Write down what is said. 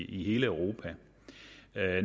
i hele europa